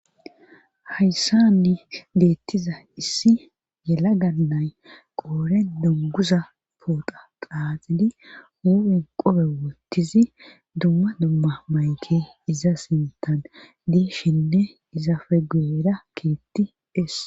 hayssanni deettiza issi yela gannay qooren dunguza poota qaaxidi huupin qobe wottizi dumma dumma mayke iza sintan dishenne iza fe guyera keetti es